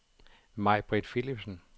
Majbritt Philipsen